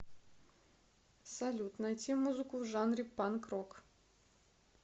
салют найти музыку в жанре панк рок